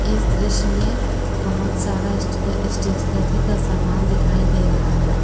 इस दृश्य में बहोत सारा स्टे स्टेशनरी का सामान दिखाई दे रहा है।